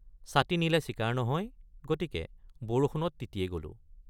ছাতি নিলে চিকাৰ নহয় গতিকে বৰষুণত তিতিয়ে গলোঁ।